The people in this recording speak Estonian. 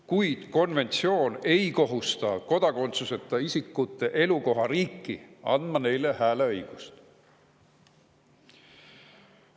Kuid see konventsioon ei kohusta kodakondsuseta isikute elukohariiki andma neile hääleõigust.